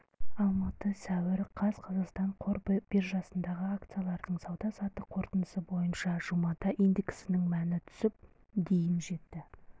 алматы сәуір қаз қазақстан қор биржасындағы акциялардың сауда-саттық қорытындысы бойынша жұмада индексінің мәні түсіп дейін жетті